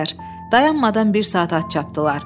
Dayanmadan bir saat at çapdılar.